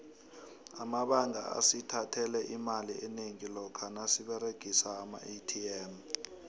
amabanga asithathele imali enengi lokha nasiberegisa amaatm